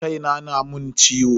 Kai na na mun ciwo.